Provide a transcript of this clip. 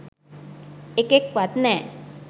එකෙක්වත් නෑ